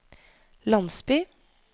landsby